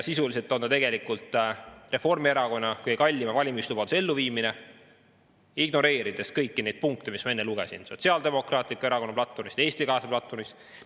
Sisuliselt on ta Reformierakonna kõige kallima valimislubaduse elluviimine, ignoreerides kõiki neid punkte, mis ma enne Sotsiaaldemokraatliku Erakonna platvormist ja Eesti 200 platvormist ette lugesin.